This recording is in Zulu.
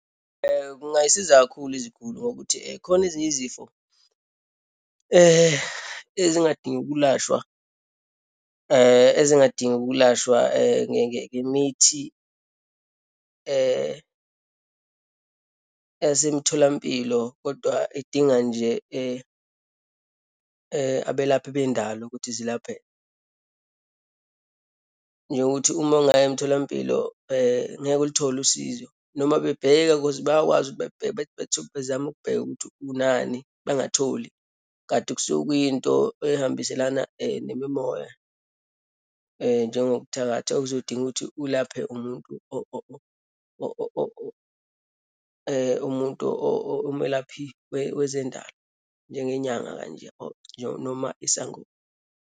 Kungayisiza kakhulu iziguli ngokuthi khona ezinye izifo ezingadingi ukulashwa, ezingadingi ukulashwa ngemithi yasemtholampilo, kodwa edinga nje abelaphi bendalo, ukuthi zilapheke. Njengokuthi uma ungaya emtholampilo ngeke ulithole usizo, noma bebheka cause bayakwazi ukuthi bekubheka bethi bethole bezame ukubheka ukuthi unani, bengatholi. Kanti kusuke kuyinto eyihambiselana nemimoya, njengokuthakatha okuzodinga ukuthi ulaphe umuntu umuntu omelaphi wezendalo, njengenyanga kanje or noma isangoma.